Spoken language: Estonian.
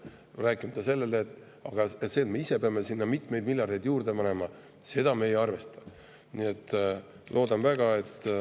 Aga ei räägita sellest, et me ise peame sinna mitmeid miljardeid juurde panema, seda me ei arvesta.